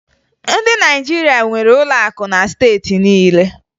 Ndị Naịjirịa nwere ụlọ akụ na steeti niile